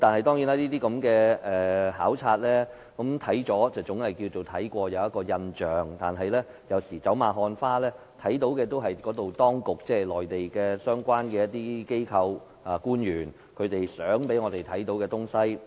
當然，這種考察總算是到實地視察過，留有印象，但走馬看花，看到的也是當局或內地相關機構及官員想我們看到的情況。